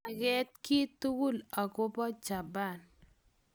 manget kiy tugul akobo japan